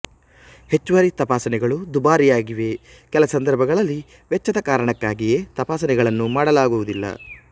ಹೆಚ್ಚುವರಿ ತಪಾಸಣೆಗಳು ದುಬಾರಿಯಾಗಿವೆ ಕೆಲ ಸಂದರ್ಭಗಳಲ್ಲಿ ವೆಚ್ಚದ ಕಾರಣಕ್ಕಾಗಿಯೇ ತಪಾಸಣೆಗಳನ್ನು ಮಾಡಲಾಗುವುದಿಲ್ಲ